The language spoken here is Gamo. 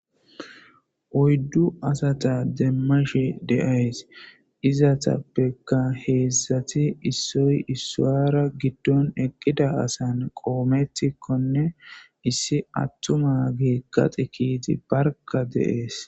oyddu asata demmashi deays izatappeka heedzszati issoy issawara giddon eqqida asan qoometikkonne issi attuma gi qaxi kiiti barka deees